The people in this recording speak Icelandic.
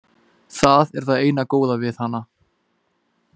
Það er það eina góða við hana.